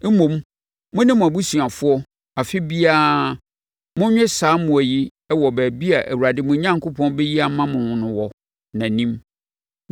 Mmom, mo ne mo abusuafoɔ, afe biara, monnwe saa mmoa yi wɔ baabi a Awurade, mo Onyankopɔn bɛyi ama mo no wɔ nʼanim.